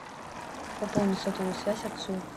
пополни сотовую связь отцу